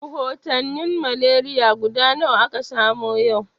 Rahotanin malaria guda nawa aka samu yau?